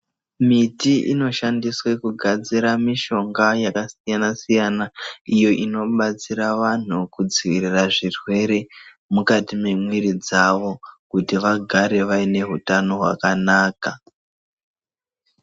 Miti inoshandiswe kugadzira mishonga yakasiyana siyana iyo inobatsira vanhu kudzivirira zvirwere mukati mwemwiri dzavo kuti vagare vaine hutano hwakanaka.